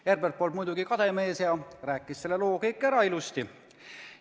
Herbert polnud muidugi kade mees ja rääkis selle loo kõik ilusti ära.